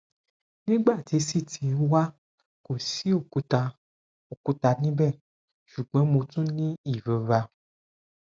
nigbati ct wa ko si okuta okuta nibẹ ṣugbọn mo tun ni irora